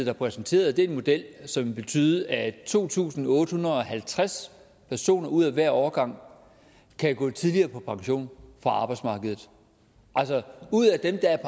har præsenteret en model som vil betyde at to tusind otte hundrede og halvtreds personer ud af hver årgang kan gå tidligere på pension fra arbejdsmarkedet altså ud af dem der er